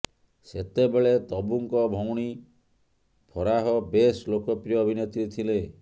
ସେତେବେଳେ ତବୁଙ୍କ ଭଉଣୀ ଫରାହ ବେଶ ଲୋକପ୍ରୀୟ ଅଭିନେତ୍ରୀ ଥିଲେ